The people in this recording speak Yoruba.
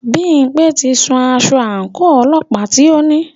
Bímpé ti sun aṣọ àńkò ọlọ́pàá tí o ní.